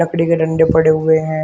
लकड़ी के डंडे पड़े हुए हैं।